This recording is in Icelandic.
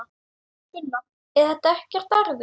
Sunna: Er þetta ekkert erfitt?